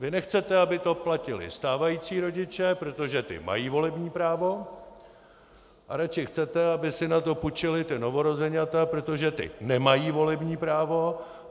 Vy nechcete, aby to platili stávající rodiče, protože ti mají volební právo, a radši chcete, aby si na to půjčila ta novorozeňata, protože ta nemají volební právo.